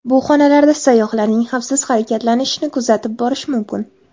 Bu xonalarda sayyohlarning xavfsiz harakatlanishini kuzatib borish mumkin.